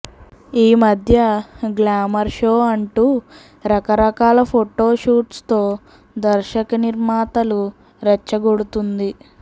ఈమధ్య glamour show అంటూ రకరకాల ఫోటో షూట్స్ తో దర్శకనిర్మాతలు రెచ్చగొడుతుంది